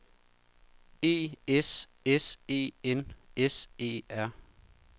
E S S E N S E R